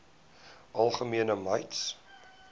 algemene mites